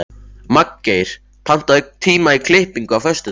Magngeir, pantaðu tíma í klippingu á föstudaginn.